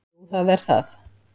Jú það er það.